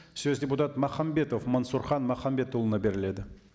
сөз депутат махамбетов мансұрхан махамбетұлына беріледі